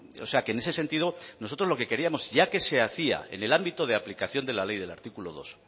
o sea que en ese sentido nosotros lo que queríamos ya que se hacía en el ámbito de la aplicación de la ley del artículo dos